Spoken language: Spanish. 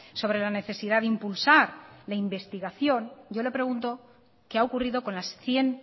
sobre la necesidad de impulsar la investigación yo le pregunto qué ha ocurrido con las cien